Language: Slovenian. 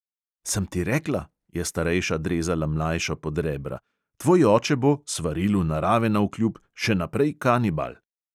"Sem ti rekla," je starejša drezala mlajšo pod rebra, "tvoj oče bo, svarilu narave navkljub, še naprej kanibal."